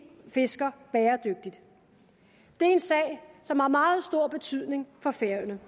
fisker bæredygtigt det er en sag som har meget stor betydning for færøerne